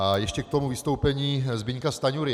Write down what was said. A ještě k tomu vystoupení Zbyňka Stanjury.